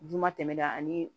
Duguma tɛmɛda ani